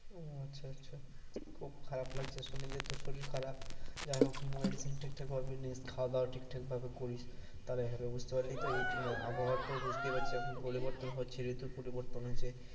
ও আচ্ছা আচ্ছা খুব খারাপ লাগছে শুনে, যে তোর শরীর খারাপ যাই হোক medicine ঠিক ঠাক ভাবে নিস খাওয়া দাওয়া ঠিক ঠাক ভাবে করিস তাহলে ভালো হবে, বুঝতে পারলি তো এই আবহাওয়া তো বুঝতেই পারছিস এখন পরিবর্তন হচ্ছে ঋতু পরিবর্তন হচ্ছে।